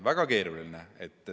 Väga keeruline!